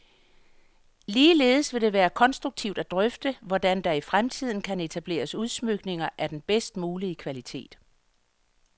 Ligeledes vil det være konstruktivt at drøfte, hvordan der i fremtiden kan etableres udsmykninger af den bedst mulige kvalitet.